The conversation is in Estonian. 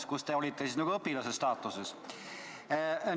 Teie ütlesite veel, et olite nagu õpilase staatuses.